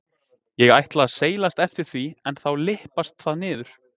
Ég ætla að seilast eftir því en þá lyppast það niður.